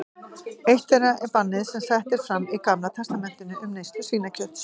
Eitt þeirra er bannið sem sett er fram í Gamla testamentinu um neyslu svínakjöts.